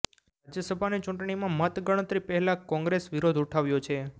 રાજ્યસભાની ચૂંટણીમાં મત ગણતરી પહેલા કોંગ્રેસ વિરોધ ઉઠાવ્યો છે